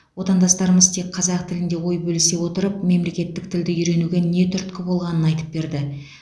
отандастарымыз тек қазақ тілінде ой бөлісе отырып мемлекеттік тілді үйренуге не түрткі болғанын айтып берді